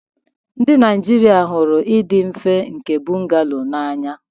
Ndị Naijiria hụrụ ịdị mfe nke bungalow n'anya.